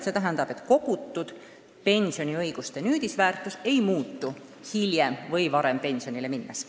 See tähendab, et kogutud pensioniõiguste nüüdisväärtus ei muutu hiljem või varem pensionile minnes.